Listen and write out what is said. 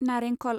नारेंखल